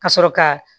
Ka sɔrɔ ka